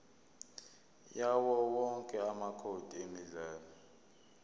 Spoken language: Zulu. yawowonke amacode emidlalo